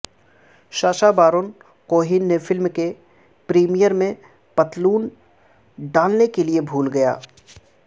Sasha Baron Cohen نے film کے premiere میں پتلون ڈالنے کے لئے بھول گیا